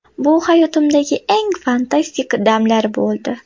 Bu hayotimdagi eng fantastik damlar bo‘ldi.